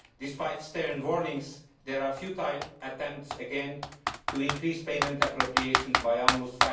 Despite stern warnings, there are futile attempts again to increase payment appropriations by almost